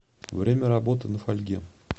время работы на фольге